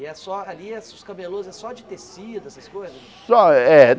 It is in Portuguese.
E é só ali os camelôs é só de tecido, essas coisas? Só é